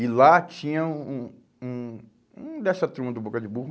E lá tinha um um um dessa turma do Boca de Burro.